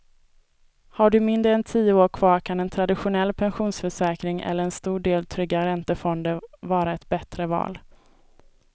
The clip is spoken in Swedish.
Har du mindre än tio år kvar kan en traditionell pensionsförsäkring eller en stor del trygga räntefonder vara ett bättre val.